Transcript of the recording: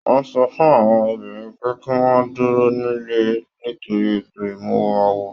Wọn sọ fún àwọn obìnrin pe kí wọn dúró nílé nítorí ètò imuwọ̀ awo.